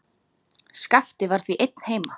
Skapti var því einn heima.